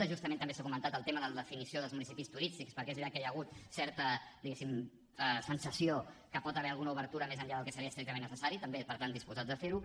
justament també s’ha comentat el tema de la definició dels municipis turístics perquè és veritat que hi ha hagut certa diguéssim sensació que hi pot haver alguna obertura més enllà del que seria estrictament necessari també per tant disposats a fer ho